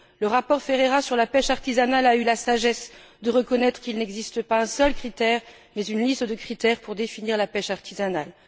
Le rapport Ferreira sur la pêche artisanale a eu la sagesse de reconnaître qu'il n'existe pas un seul critère, mais une liste de critères, pour définir la pêche artisanale.